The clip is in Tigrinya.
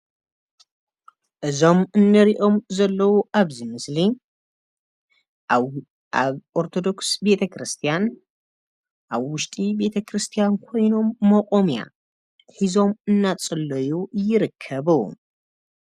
እዞም እንሪኦም ዘለው ኣብዚ ምስሊ ኣብ ኦርቶዶክስ ቤተክርስትያን ኣብ ውሽጢ ቤተ-ክርስትያን ኮይኖም ሞቆምያ ሒዞም እንዳፀለዩ ይርከቡ።